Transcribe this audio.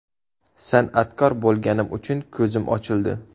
San’atkor bo‘lganim uchun ko‘zim ochildi.